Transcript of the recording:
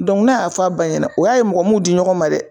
n ne y'a fɔ ba ɲɛna, o y'a ye mɔgɔ mun ɲɔgɔn ma dɛ